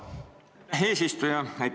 Aitäh, eesistuja!